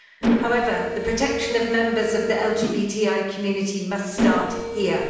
However, the protection of members of the LGBTI community must start here.